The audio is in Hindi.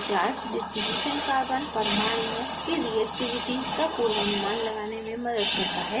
partial charge distribution carbon परमाणुओं की reactivity का पूर्वानुमान लगाने में मदद करता है